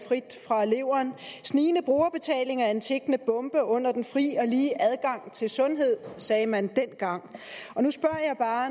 frit fra leveren snigende brugerbetaling er en tikkende bombe under den fri og lige adgang til sundhed det sagde man dengang men